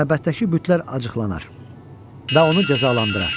məbəddəki bütlər acıqlanar və onu cəzalandırar.